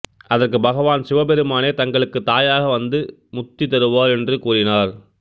அதற்குப் பகவான் சிவபெருமானே தங்களுக்குத் தாயாக வந்து முத்தி தருவார் என்று கூறினார்